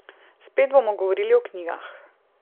Spet bomo govorili o knjigah.